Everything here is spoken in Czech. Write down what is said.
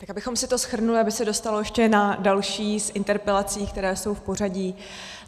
Tak abychom si to shrnuli, aby se dostalo ještě na další z interpelací, které jsou v pořadí.